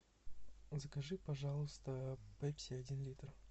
закажи пожалуйста пепси один литр